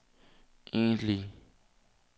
egentlige